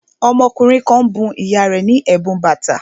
Ọmọkùnrin kan bun ìyá rẹ̀ ní ẹ̀bùn bàtà